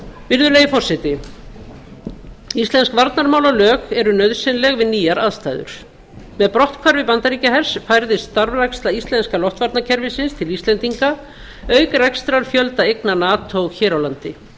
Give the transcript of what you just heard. virðulegi forseti íslensk varnarmálalög eru nauðsynleg við nýjar aðstæður með brotthvarfi bandaríkjahers færðist starfræksla íslenska loftvarnakerfisins til íslendinga auk rekstrarfjölda eigna nato hér á landi